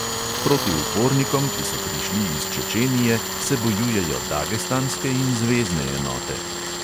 Proti upornikom, ki so prišli iz čečenije, se bojujejo dagestanske in zvezne enote.